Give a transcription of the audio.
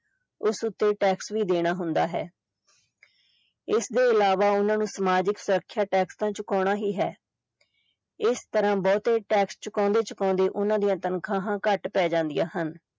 ਉਸ ਉੱਤੇ tax ਵੀ ਦੇਣਾ ਹੁੰਦਾ ਹੈ ਇਸਦੇ ਇਲਾਵਾ ਉਹਨਾਂ ਨੂੰ ਸਮਾਜਿਕ ਸੁਰੱਖਿਆ tax ਤਾਂ ਚੁਕਾਉਣਾ ਹੀ ਹੈ ਇਸ ਤਰ੍ਹਾਂ ਬਹੁਤੇ tax ਚੁਕਾਉਂਦੇ ਚੁਕਾਉਂਦੇ ਉਹਨਾਂ ਦੀਆਂ ਤਨਖਾਹਾਂ ਘੱਟ ਪੈ ਜਾਂਦੀਆਂ ਹਨ।